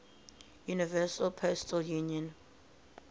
universal postal union